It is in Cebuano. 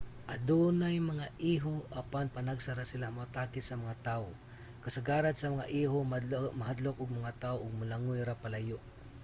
adunay mga iho apan panagsa ra sila moatake sa mga tawo. kasagaran sa mga iho mahadlok og mga tawo ug molangoy ra palayo